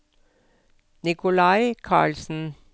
Nicolai Carlsen